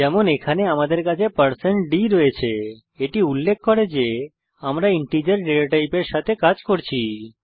যেমন এখানে আমাদের কাছে d রয়েছে এটি উল্লেখ করে যে আমরা ইন্টিজার ডেটাটাইপের সাথে কাজ করছি